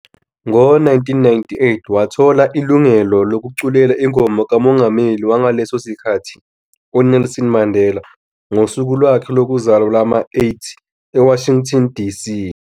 Ngo-1998, wathola ilungelo lokuculela ingoma kamongameli wangaleso sikhathi uNelson Mandela ngosuku lwakhe lokuzalwa lwama-80 eWashington DC.